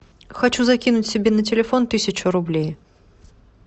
хочу закинуть себе на телефон тысячу рублей